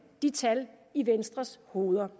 de tal i venstres hoveder